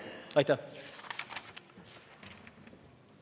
Aitäh!